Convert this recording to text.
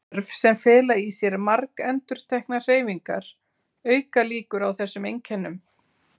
Störf sem fela í sér margendurteknar hreyfingar auka líkur á þessum einkennum.